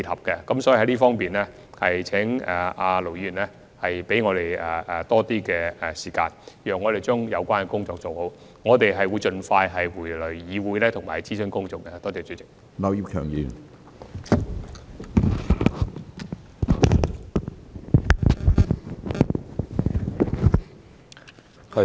所以，在這方面，請盧議員給予我們多一些時間，讓我們將有關工作做好，我們會盡快返回議會進行公眾諮詢。